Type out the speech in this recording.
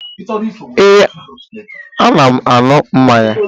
Ee, ana m aṅụ mmanya